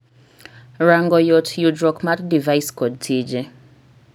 ranngo yot yudruok mar device kod tije